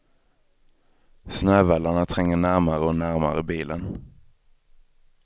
Snövallarna tränger närmare och närmare bilen.